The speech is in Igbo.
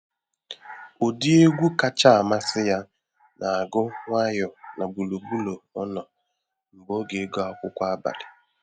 Ụdị egwu kacha amasị ya na agụ nwayọ n’gburugburu ọnọ n'oge ịgụ akwụkwọ abalị